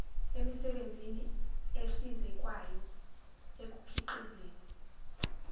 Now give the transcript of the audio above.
emisebenzini ehlinzekwayo ekukhiqizeni